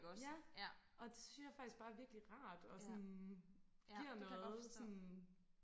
ja og det synes jeg faktisk bare er virkelig rart og sådan giver noget sådan